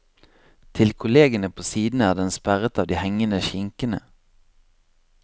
Til kollegene på sidene er den sperret av de hengende skinkene.